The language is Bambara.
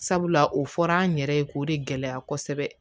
Sabula o fɔra an yɛrɛ ye k'o de gɛlɛya kosɛbɛ